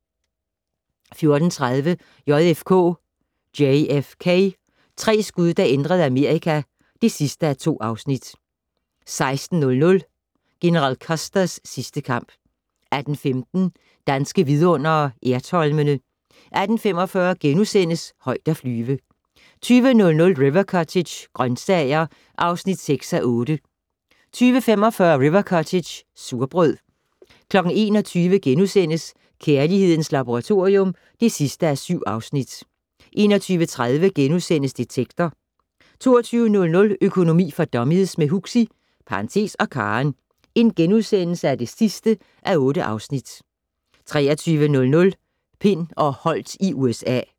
14:30: JFK - tre skud der ændrede Amerika (2:2) 16:00: General Custers sidste kamp 18:15: Danske Vidundere: Ertholmene 18:45: Højt at flyve * 20:00: River Cottage - grøntsager (6:8) 20:45: River Cottage - surbrød 21:00: Kærlighedens Laboratorium (7:7)* 21:30: Detektor * 22:00: Økonomi for dummies - med Huxi (og Karen) (8:8)* 23:00: Pind og Holdt i USA